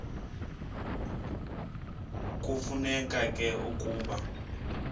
kufuneka ke ukuba